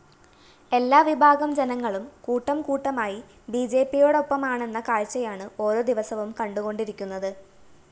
എല്ലാവിഭാഗം ജനങ്ങളും കൂട്ടംകൂട്ടമായി ബിജെപിയോടൊപ്പമാണെന്ന കാഴ്ചയാണ് ഓരോ ദിവസവും കണ്ടുകൊണ്ടിരിക്കുന്നത്